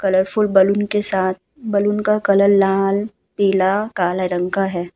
Colourful balloon के साथ balloon का कलर लाल पीला काले रंग का है।